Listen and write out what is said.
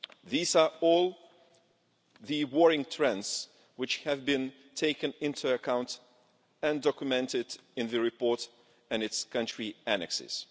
These are all the worrying trends which have been taken into account and documented in the report and its country annexes.